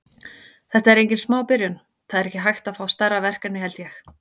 Þetta er engin smá byrjun, það er ekki hægt að fá stærra verkefni held ég.